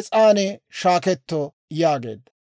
es's'an shaaketto» yaageedda.